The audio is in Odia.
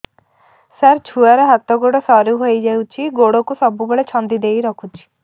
ସାର ଛୁଆର ହାତ ଗୋଡ ସରୁ ହେଇ ଯାଉଛି ଗୋଡ କୁ ସବୁବେଳେ ଛନ୍ଦିଦେଇ ରଖୁଛି